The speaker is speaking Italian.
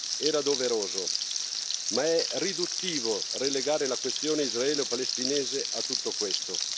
era doveroso, ma è riduttivo relegare la questione israelo palestinese a tutto questo.